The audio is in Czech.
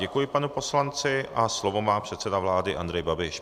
Děkuji panu poslanci a slovo má předseda vlády Andrej Babiš.